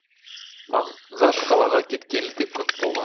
мағаш қалаға кеткелі де көп болған